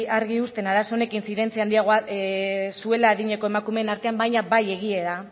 argi uzten arazo honekin zuela adineko emakumeen artean baina bai egia